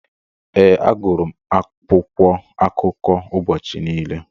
Ee, agụrụ akwụkwọ akụkọ ụbọchị niile.